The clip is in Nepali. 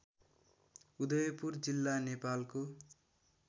उदयपुर जिल्ला नेपालको